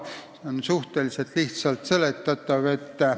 See on suhteliselt lihtsalt seletatav.